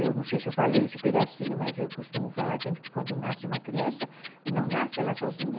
Eu não sei se eu falei esse pedacinho, mas eu costumo falar sempre que quando nasce uma criança, não nasce ela sozinha,